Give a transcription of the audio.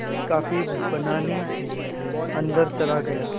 मैं कॉफ़ी बनाने अन्दर चला गया